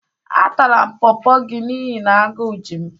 Atara m Pọọpọ gị n'ihi na agú ji m.